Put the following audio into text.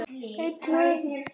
Elsku amma, hvíl í friði.